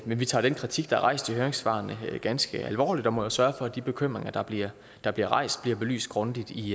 men vi tager den kritik der er rejst i høringssvarene ganske alvorligt og vi må jo sørge for at de bekymringer der bliver der bliver rejst bliver belyst grundigt i